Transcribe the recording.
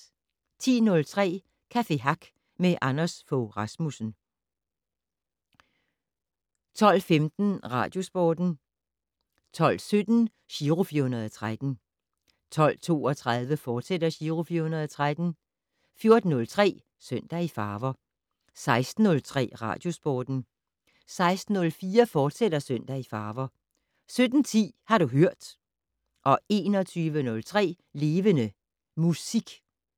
10:03: Café Hack med Anders Fogh Rasmussen 12:15: Radiosporten 12:17: Giro 413 12:32: Giro 413, fortsat 14:03: Søndag i farver 16:03: Radiosporten 16:04: Søndag i farver, fortsat 17:10: Har du hørt 21:03: Levende Musik